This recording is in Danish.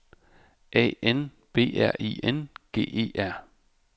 A N B R I N G E R